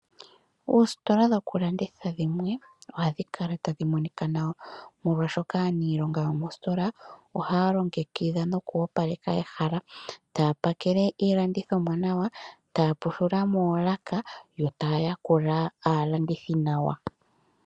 Oositola dhokulanditha dhimwe ohadhi kala tadhi monika nawa molwaashoka aaniilonga yomositola ohaa longekidha nokuga opaleka ehala. Taa pakele yiilandithomwa nawa, taa pushula moolaka yo taa yakula aalandithi nawa.